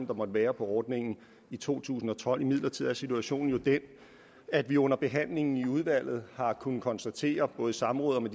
der måtte være på ordningen i to tusind og tolv imidlertid er situationen jo den at vi under behandlingen i udvalget har kunnet konstatere både i samråd